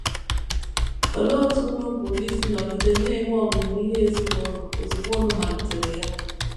Olee otú unu pụrụ isi nọgide na - enwe ọmụmụ ihe ezinụlọ ozugbo unu malitere ya?